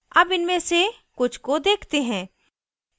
अब इनमें से कुछ को देखते हैं